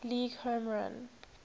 league home run